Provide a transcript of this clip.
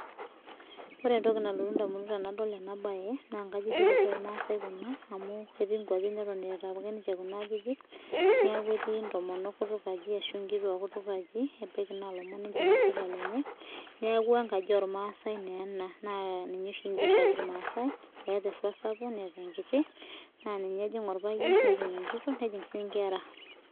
Ore entoki nalotu edamunot tenadol ena mbae naa nkajijik Osho ormaasai Kuna amu ketii nkwapii neton apake etaa Kuna ajijik neeku etii ntomonok kutukaji ashu nkituak kutakaji ebaiki naa elomon lenye enosita neeku enkaji ormaasai naa ena naa ninye oshi erg irmaasai etaa eruat sapuk netaa enkiti naa ninye ejig orpayian nejing Enkitok nijing sinye enkera